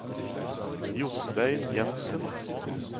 Jostein Jenssen